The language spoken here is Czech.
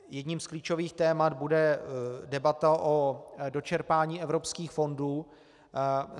Jedním z klíčových témat bude debata o dočerpání evropských fondů.